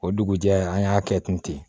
O dugujɛ an y'a kɛ ten ten